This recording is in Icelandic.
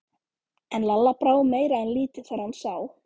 En Lalla brá meira en lítið þegar hann sá